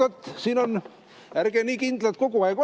Oot-oot-oot, ärge nii kindlad kogu aeg olge.